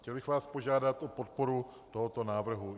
Chtěl bych vás požádat o podporu tohoto návrhu.